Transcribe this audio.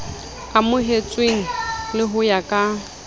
amohetsweng le ho ya ka